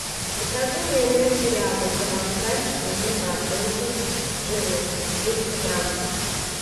закажи майонез ряба провансаль шестьдесят семь процентов жирности четыреста грамм